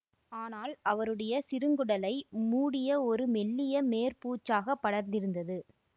ஆனால் அவருடைய சிறுங்குடலை மூடிய ஒரு மெல்லிய மேற்பூச்சாக படர்ந்திருந்தது